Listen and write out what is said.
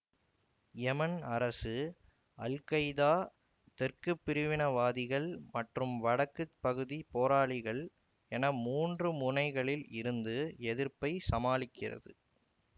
எமன் அரசு அல்கைடா தெற்கு பிரிவினைவாதிகள் மற்றும் வடக்கு பகுதி போராளிகள் என மூன்று முனைகளில் இருந்து எதிர்ப்பைச் சமாளிக்கிறது